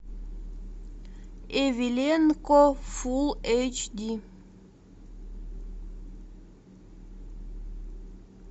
эвеленко фул эйч ди